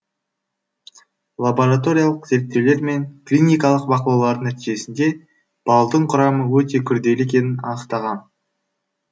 лабораториялық зерттеулер мен клиникалық бақылаулардың нәтижесінде балдың құрамы өте күрделі екенін анықтаған